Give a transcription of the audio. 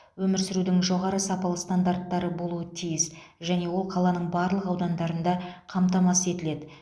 өмір сүрудің жоғары сапалы стандарттары болуы тиіс және ол қаланың барлық аудандарында қамтамасыз етіледі